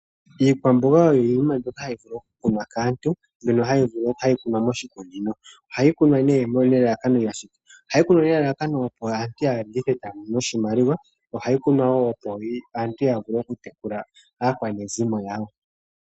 Iikwamboga oyo iinima mbyoka hayi vulu oku kunwa kaantu mbyono ohayi kunwa moshikunino, ohayi kunwa nelalakano opo aantu ya landithe etaya mono oshimalima no opo aantu ya vule okutekula aakwanezimo yawo.